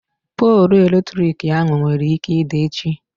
Poolụ eletrik ahụ nwere ike ịda echi.